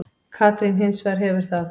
Katrín hins vegar hefur það.